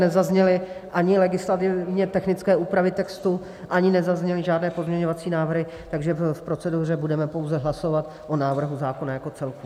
Nezazněly ani legislativně technické úpravy textu, ani nezazněly žádné pozměňovací návrhy, takže v proceduře budeme pouze hlasovat o návrhu zákona jako celku.